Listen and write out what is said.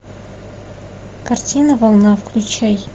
картина волна включай